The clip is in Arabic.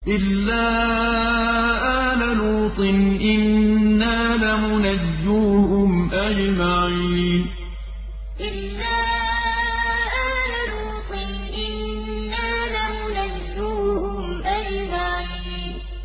إِلَّا آلَ لُوطٍ إِنَّا لَمُنَجُّوهُمْ أَجْمَعِينَ إِلَّا آلَ لُوطٍ إِنَّا لَمُنَجُّوهُمْ أَجْمَعِينَ